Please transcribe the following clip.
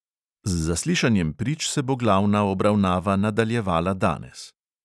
Z zaslišanjem prič se bo glavna obravnava nadaljevala danes.